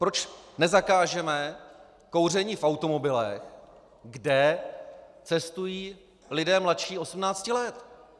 Proč nezakážeme kouření v automobilech, kde cestují lidé mladší 18 let?